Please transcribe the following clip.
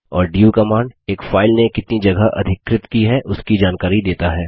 और du command एक file ने कितनी जगह अधिकृत की है उसकी जानकारी देता है